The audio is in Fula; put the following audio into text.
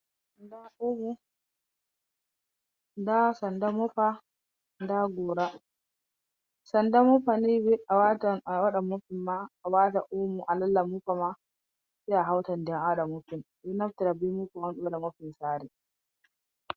Nda omo, nda mopa, nda gora, Sanda mopa ni ɓe waɗan mopin ma a wata omo alallah mopa ma sai ahawta ndiyam a waɗa mopin, ɓe ɗo naftira be mopa on ɓe waɗa mopin sare.